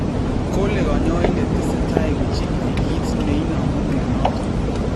Kole kanyoindet tesetai kochigili kiit neinomu myonoton